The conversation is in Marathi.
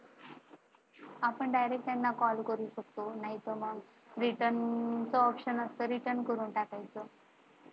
आपण Direct त्यांना Call करू शकतो. नाहीतर मग return option ok करून टाकायचं.